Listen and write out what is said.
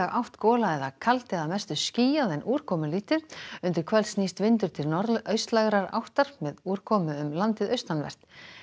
átt gola eða kaldi að mestu skýjað en úrkomulítið undir kvöld snýst vindur til áttar með úrkomu um landið austanvert